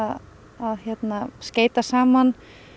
að skeyta saman